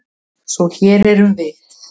Svo hér erum við.